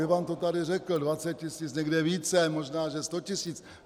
Ivan to tady řekl - 20 tisíc, někde více, možná že 100 tisíc.